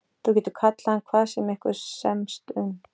Þú getur kallað hann hvað sem ykkur semst um.